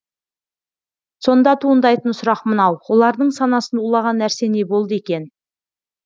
сонда туындайтын сұрақ мынау олардың санасын улаған нәрсе не болды екен